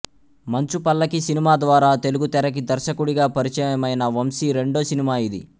మంచు పల్లకి సినిమా ద్వారా తెలుగు తెరకి దర్శకుడిగా పరిచయమైన వంశీ రెండో సినిమా ఇది